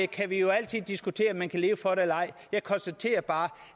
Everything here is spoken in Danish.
kan vi jo altid diskutere om man kan leve for det eller ej jeg konstaterer bare